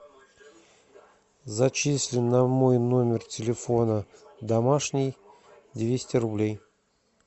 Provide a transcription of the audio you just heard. зачисли на мой номер телефона домашний двести рублей